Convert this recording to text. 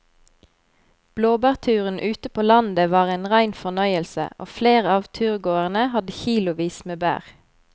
Blåbærturen ute på landet var en rein fornøyelse og flere av turgåerene hadde kilosvis med bær.